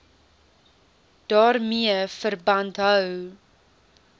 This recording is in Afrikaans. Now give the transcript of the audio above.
daarmee verband hou